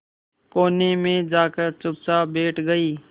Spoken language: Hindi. कोने में जाकर चुपचाप बैठ गई